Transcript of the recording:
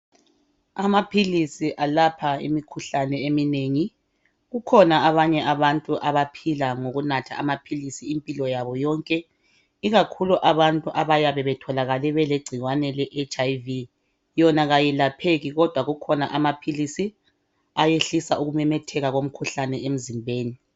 Amaphilisi alapha imikhuhlane eminengi .Kukhona abanye abantu abaphila ngokunatha amaphilisi impilo yabo yonke .Ikakhulu abantu abayabe betholakale belegcikwane le HIV yona kayelapheki kodwa kukhona amaphilisi ayehlisa ukumemetheka komkhuhlane emzimbeni .